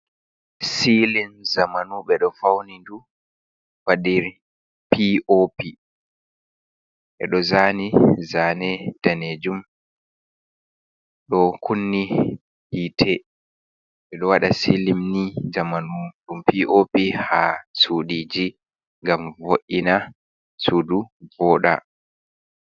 Silin zamanu be ɗo fauni dum. badir P.O.P be do zani zane ndanejum. Do kunni yite beɗo wada silim ni zamanu dum P.OP ha sudiji gam vo’’ina sudu voda.